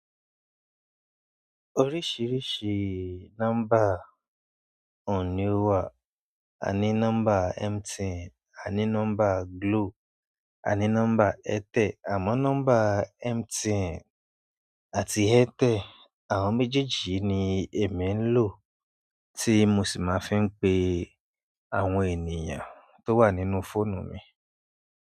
Oríṣìíríṣìí nọ́ḿbà ohun ní ó wà. A ní nọ́mbà MTN, a ní nọ́mbà Glo, a ní nọ́mbà Airtel, àmọ́ nọ́mbà MTN àti Airtel, àwọn méjèèjì yìí ni èmi ń lò tí mo sì máa fi ń pe àwọn ènìyàn tó wà nínú fóònù mi.